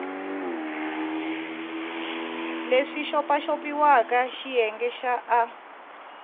leswi xopaxopiwaka xiyenge xa a